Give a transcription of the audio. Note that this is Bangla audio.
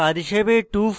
নির্দেশিত কাজ হিসাবে